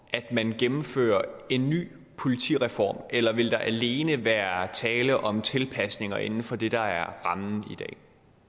at man gennemfører en ny politireform eller vil der alene være tale om tilpasninger inden for det der er rammen i dag